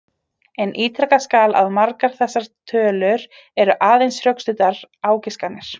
En ítrekað skal að margar þessar tölur eru aðeins rökstuddar ágiskanir.